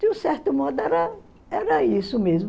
De um certo modo, era era isso mesmo.